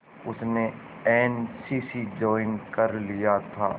उसने N C C join कर लिया था